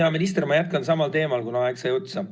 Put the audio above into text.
Hea minister, ma jätkan samal teemal, kuna minu aeg sai otsa.